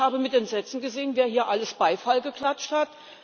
Ich habe mit Entsetzen gesehen, wer hier alles Beifall geklatscht hat.